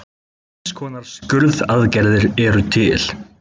Tvenns konar skurðaðgerðir eru til.